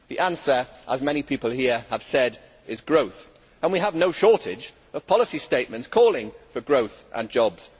The answer, as many people here have said, is growth, and we have no shortage of policy statements calling for growth and jobs.